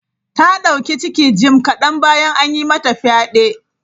Ta dauki ciki jim kadan bayan an yi mata fyade.